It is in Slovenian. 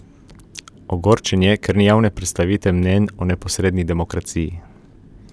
Ogorčen je, ker ni javne predstavite mnenj o neposredni demokraciji.